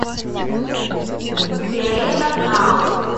виолетта кнауп